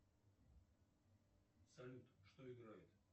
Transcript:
салют что играет